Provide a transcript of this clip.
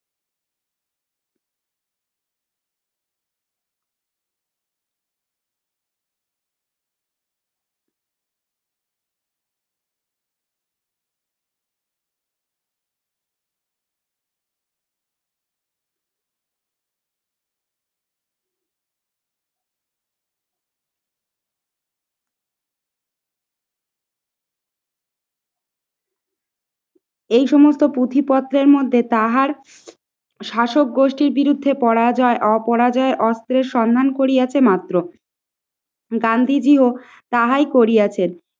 এই সমস্ত পুঁথিপত্রের মধ্যে তাহার শাসক গোষ্ঠীর বিরুদ্ধে পরাজয়, অপরাজয় অস্ত্রের সন্ধান করিয়াছে মাত্র গান্ধীজিও তাহাই করিয়াছে